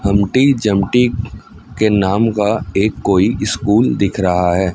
हमटी जमटी के नाम का एक कोई स्कूल दिख रहा है।